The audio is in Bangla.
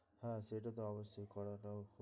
হ্যাঁ সেটা তো অবশ্যই করাটাও।